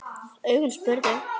Augun spurðu.